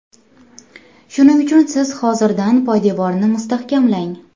Shuning uchun siz hozirdan poydevorni mustahkamlang.